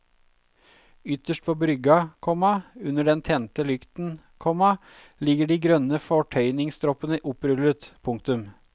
Ytterst på brygga, komma under den tente lykten, komma ligger de grønne fortøyningsstroppene opprullet. punktum